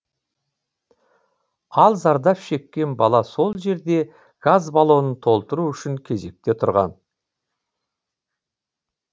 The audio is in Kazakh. ал зардап шеккен бала сол жерде газ баллоның толтыру үшін кезекте тұрған